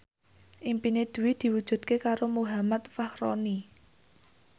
impine Dwi diwujudke karo Muhammad Fachroni